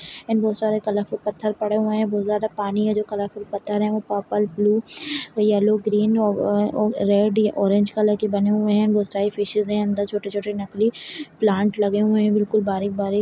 एंड बहोत सारे कलरफुल पत्थर पड़े हुए हैं बहोत ज्यादा पानी है जो कलरफुल पत्थर है वो पर्पल ब्लू येलो ग्रीन ओ-ओ-और रेड या ऑरेंज कलर के बने हुए हैं बहोत सारी फिशेस है अंदर छोटे-छोटे नकली प्लांट लगे हुए हैं बिल्कुल बारीक-बारीक।